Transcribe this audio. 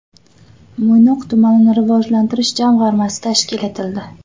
Mo‘ynoq tumanini rivojlantirish jamg‘armasi tashkil etildi.